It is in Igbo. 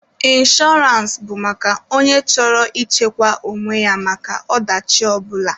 Inshọrance bụ maka onye chọrọ ị chekwa onwe ya maka ọ dachi ọ bụla.